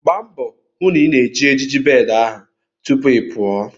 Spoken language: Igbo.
Gba mbo hu na ị na-eji ejiji bed ahụ tupu ị pụọ!